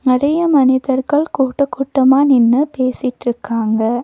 நெறைய மனிதர்கள் கூட்டகூட்டமா நின்னு பேசிட்டுருக்காங்க.